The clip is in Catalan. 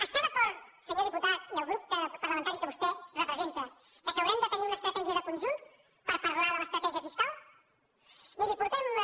està d’acord senyor diputat i el grup parlamentari que vostè representa que haurem de tenir una estratègia de conjunt per parlar de l’estratègia fiscal miri fa